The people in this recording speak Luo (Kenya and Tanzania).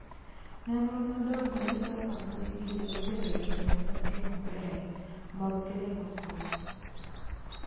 Nonro madongo nyiso kaka mbui gi nyalo bedo jotelo matiyo maber mag kelo lokruok.